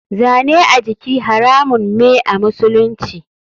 Zane a jiki haramun me a musulunci.